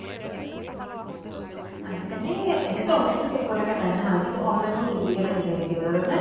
আজিকালি এনেতো online তো চব product এ পায় হা । কিন্তু online অ duplicate আহি যায় কেতিয়াবা জানানে?